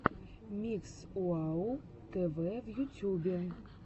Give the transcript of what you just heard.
микс уау тв в ютюбе